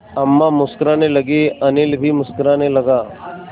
अम्मा मुस्कराने लगीं अनिल भी मुस्कराने लगा